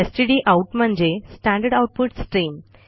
stdout म्हणजे standard output stream